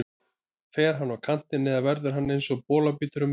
Fer hann á kantinn eða verður hann eins og bolabítur á miðjunni?